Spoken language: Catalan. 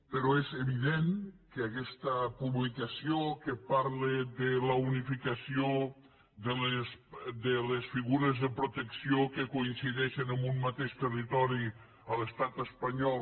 però és evident que aquesta publicació que parla de la unificació de les figures de protecció que coincideixen en un mateix territori a l’estat espanyol